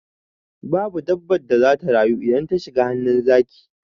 Babu dabbar da zata rayu idan ta shiga hannun zaki.